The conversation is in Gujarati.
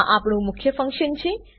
આ આપણું મુખ્ય ફંક્શન છે